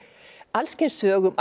alls kyns sögum